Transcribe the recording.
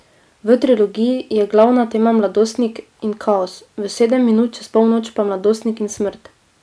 V trilogiji je glavna tema mladostnik in kaos, v Sedem minut čez polnoč pa mladostnik in smrt.